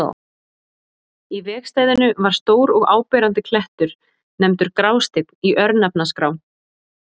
Í vegstæðinu var stór og áberandi klettur, nefndur Grásteinn í örnefnaskrá.